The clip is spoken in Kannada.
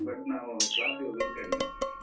But ನಾವು class ಗೆ ಹೋಗುದು ಕಡಿಮೆ.